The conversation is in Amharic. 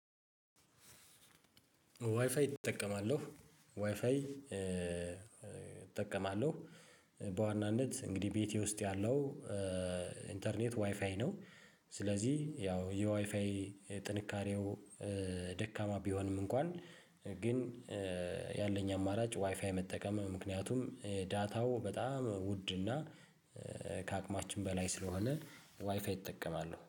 ዋይፋይ እጠቀማለሁ ዋይፋይ እጠቀማለሁ በዋናነት እንግዲህ ቤቴ ውስጥ ያለው ኢንተርኔት ዋይፋይ ነው። ስለዚህ ያው የዋይፋይ ጥንካሬው ደካማ ቢሆንም እንኳን ግን ያለኝ አማራጭ ዋይፋይ መጠቀም ምክንያቱም ዳታው በጣም ውድ እና ከአቅማችን በላይ ስለሆነ ዋይፋይ እጠቀማለሁ